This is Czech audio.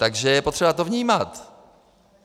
Takže je potřeba to vnímat.